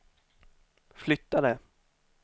flyttade